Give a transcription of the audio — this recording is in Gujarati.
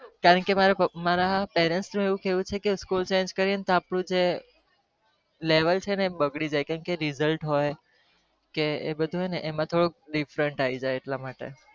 કારણ કે મારા parents નું એવું કહેવ છે ક school change કરીએ તો અપ્ડું જે rejult